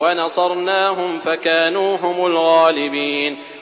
وَنَصَرْنَاهُمْ فَكَانُوا هُمُ الْغَالِبِينَ